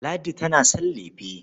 Ladi tana son lefe.